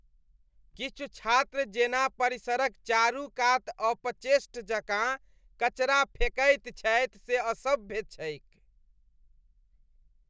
किछु छात्र जेना परिसरक चारूकात अपचेष्ट जकाँ कचरा फेकैत छथि से असभ्य छैक ।